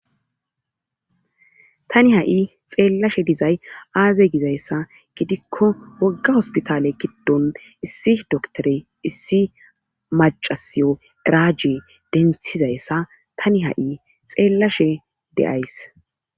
Tani ha'i xeellashe dizay aazey gizayssa gidikko wogga hospitale giddon issi doktore issi macasiyo eraje denthizayssa tani ha7i xeellashe de'ays.